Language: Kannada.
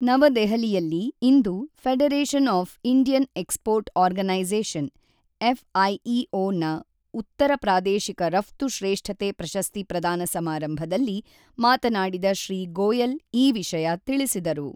ನವದೆಹಲಿಯಲ್ಲಿ ಇಂದು Federation of Indian Export Organisation F IEO ನ ಉತ್ತರ ಪ್ರಾದೇಶಿಕ ರಫ್ತು ಶ್ರೇಷ್ಠತೆ ಪ್ರಶಸ್ತಿ ಪ್ರದಾನ ಸಮಾರಂಭದಲ್ಲಿ ಮಾತನಾಡಿದ ಶ್ರೀ ಗೋಯಲ್ ಈ ವಿಷಯ ತಿಳಿಸಿದರು.